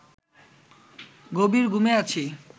গভীর ঘুমে আছি